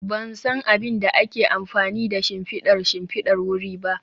Ban san abin da ake amfani da shimfidar shimfidar wuri ba